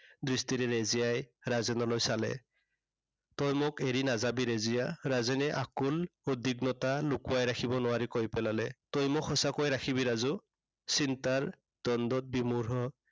দৃষ্টিৰে ৰেজিয়াই ৰাজেনলৈ চালে। তই মোক এৰি নাযাবি ৰেজিয়া। ৰাজেনে আকুল উদ্বিগ্নতা লুকুৱাই ৰাখিব নোৱাৰি কৈ পেলালে। তই মোক সঁচাকৈয়ে ৰাখিবি ৰাজু। চিন্তাৰ দ্বন্দত বিমোহ